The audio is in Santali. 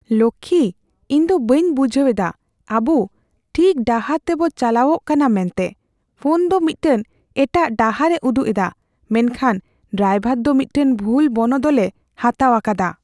ᱞᱚᱠᱠᱷᱤ, ᱤᱧ ᱫᱚ ᱵᱟᱹᱧ ᱵᱩᱡᱷᱟᱹᱣ ᱮᱫᱟ ᱟᱵᱩ ᱴᱷᱤᱠ ᱰᱟᱦᱟᱨ ᱛᱮᱵᱚ ᱪᱟᱞᱟᱣᱚᱜ ᱠᱟᱱᱟ ᱢᱮᱱᱛᱮ ᱾ ᱯᱷᱚᱱ ᱫᱚ ᱢᱤᱫᱴᱟᱝ ᱮᱴᱟᱜ ᱰᱟᱦᱟᱨ ᱮ ᱩᱫᱩᱜ ᱮᱫᱟ ᱢᱮᱱᱠᱷᱟᱱ ᱰᱨᱟᱭᱵᱷᱟᱨ ᱫᱚ ᱢᱤᱫᱴᱟᱝ ᱵᱷᱩᱞ ᱵᱚᱱᱚᱫᱚᱞᱮ ᱦᱟᱛᱟᱣ ᱟᱠᱟᱫᱟ ᱾